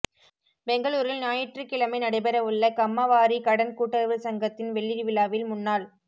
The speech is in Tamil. பெங்களூரில் ஞாயிற்றுக்கிழமை நடைபெற உள்ள கம்மாவாரி கடன் கூட்டுறவு சங்கத்தின் வெள்ளி விழாவில் முன்னாள்